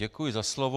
Děkuji za slovo.